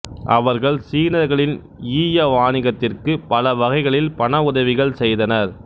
அவர்கள் சீனர்களின் ஈய வாணிகத்திற்குப் பல வகைகளில் பண உதவிகள் செய்தனர்